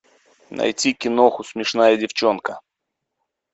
найти киноху смешная девчонка